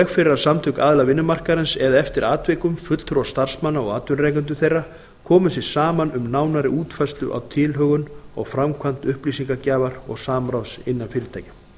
fyrir að samtök aðila vinnumarkaðarins eða eftir atvikum fulltrúar starfsmanna og atvinnurekendur þeirra komu sér saman um nánari útfærslu á tilhögun og framkvæmd upplýsingagjafa og samráðs innan fyrirtækja